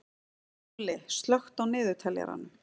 Júlli, slökktu á niðurteljaranum.